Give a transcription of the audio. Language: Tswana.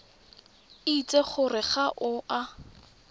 itse gore ga o a